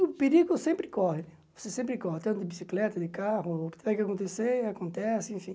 O perigo sempre corre, você sempre corre, tanto de bicicleta, de carro, o que tiver que acontecer, acontece, enfim.